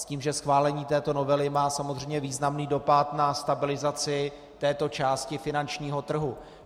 S tím, že schválení této novely má samozřejmě významný dopad na stabilizaci této části finančního trhu.